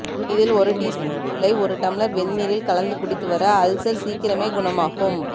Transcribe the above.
இதில் ஒரு டீஸ்பூன் தூளை ஒரு டம்ளர் வெந்தீரில் கலந்து குடித்து வர அல்சர் சீக்கிரமே குணமாகும்